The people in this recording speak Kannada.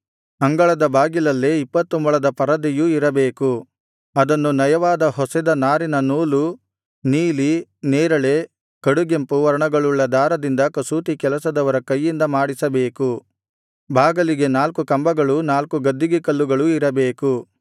ಅಂಗಳದ ಬಾಗಿಲಲ್ಲೇ ಇಪ್ಪತ್ತು ಮೊಳದ ಪರದೆಯೂ ಇರಬೇಕು ಅದನ್ನು ನಯವಾಗಿ ಹೊಸೆದ ನಾರಿನ ನೂಲು ನೀಲಿ ನೇರಳೆ ಕಡುಗೆಂಪು ವರ್ಣಗಳುಳ್ಳ ದಾರದಿಂದ ಕಸೂತಿ ಕೆಲಸದವರ ಕೈಯಿಂದ ಮಾಡಿಸಬೇಕು ಬಾಗಿಲಿಗೆ ನಾಲ್ಕು ಕಂಬಗಳೂ ನಾಲ್ಕು ಗದ್ದಿಗೆ ಕಲ್ಲುಗಳು ಇರಬೇಕು